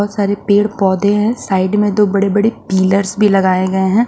बहुत सारे पेड़ पौधे हैं साइड में दो बड़े बड़े पिलर्स भी लगाए गए हैं।